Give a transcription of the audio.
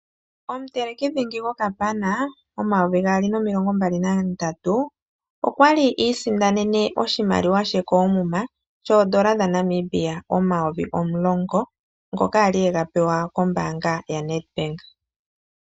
Omuteleki dhingi gokapana, momayovi gaali nomilongo mbali nandatu, okwali iisindanene oshimaliwa she koomuma ,shoodola dhaNamibia omayovi omulongo, ngoka a li ega pewa kombaanga yaNedbank.